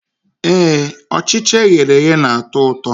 Ee, Ọchịcha eghere eghe na-atọ ụtọ